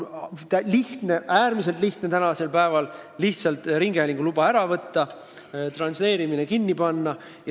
Tänapäeval on äärmiselt lihtne ringhäälinguluba ära võtta, transleerimist lihtsalt kinni panna.